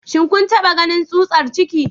Shin kun taba ganin tsutsar ciki?